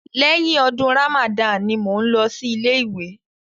Lẹ́yìn ọdún Ramadan ni mò ń lọ sí ilé ìwé.